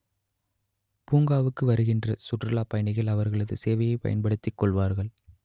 பூங்காவுக்கு வருகின்ற சுற்றுலாப் பயணிகள் அவர்களது சேவையை பயன்படுத்திக் கொள்வார்கள்